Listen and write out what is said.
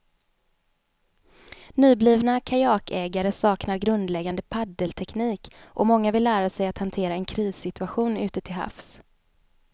Nyblivna kajakägare saknar grundläggande paddelteknik och många vill lära sig att hantera en krissituation ute till havs.